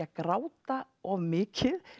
að gráta of mikið